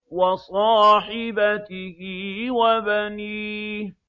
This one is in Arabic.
وَصَاحِبَتِهِ وَبَنِيهِ